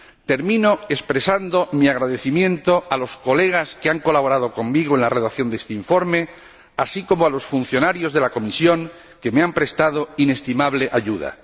Termino expresando mi agradecimiento a los colegas que han colaborado conmigo en la redacción de este informe, así como a los funcionarios de la comisión, que me han prestado inestimable ayuda.